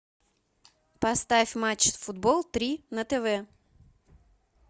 поставь матч футбол три на тв